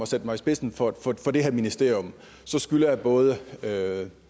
sætte mig i spidsen for det her ministerium så skylder jeg både